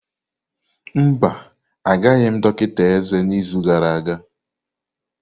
Mba, agaghị m dọkịta eze n'izu gara aga.